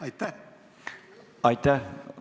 Aitäh!